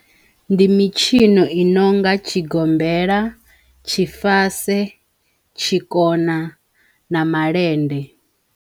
Ndi mitshino i nonga tshigombela, tshifase, tshikona na malende.